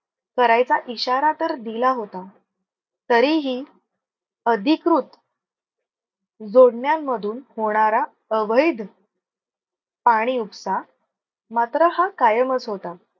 करायचा इशारा तर दिला होता. तरीही अधिकृत जोडण्यांमधून होणार अवैध पाणी उपसा मात्र हा कायमच होता.